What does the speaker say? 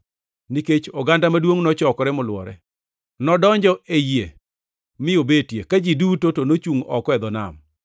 Nikech oganda maduongʼ nochokore molwore, nodonjo ei yie mi obetie, ka ji duto to ochungʼ oko e dho nam.